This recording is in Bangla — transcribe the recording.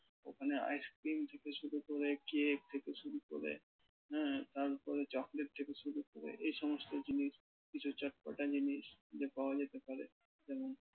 ওখানে ice cream থেকে শুরু করে cake থেকে শুরু করে হ্যাঁ তারপরে chocolate থেকে শুরু করে এই সমস্ত জিনিস কিছু চটপটা জিনিস পাওয়া যেতে পারে।